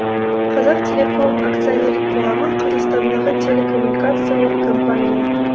қазақтелеком акционерлік қоғамы қазақстандағы телекоммуникациялық компания